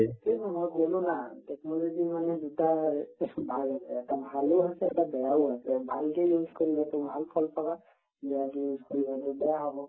তাকেতো মই কলো না technology ৰ মানে দুটা ৰে এহ্ ভাগ আছে এটা ভালো আছে এটা বেয়াও আছে ভালখিনি use কৰিলে তুমি ভাল ফল পাবা বেয়াখিনি use কৰিলে বেয়া হব